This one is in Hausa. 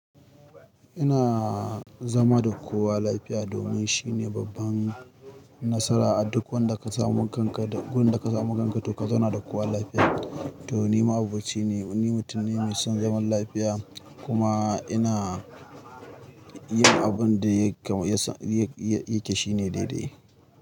Ina zama da kowa lafiya domin shine babban nasara a duk wanda ka samu kanka da wurin da ka samu ganganto ka zauna da kowa lafiya. To ni ma'aboci ne, ni mutum ne mai son zaman lafiya kuma ina yin abin da yake shine daidai.